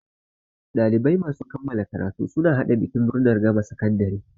Ɗalibai masu kammala karatu suna haɗa bikin murnar gama sakandare.